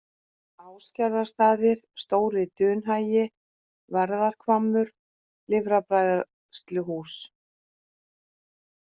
Ásgerðarstaðir, Stóri-Dunhagi, Værðarhvammur, Lifrarbræðsluhús